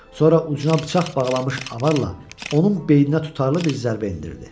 Sonra ucuna bıçaq bağlamış avarlla onun beyninə tutarlı bir zərbə endirdi.